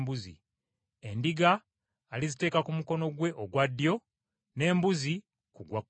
Endiga aliziteeka ku mukono gwe ogwa ddyo n’embuzi ku gwa kkono.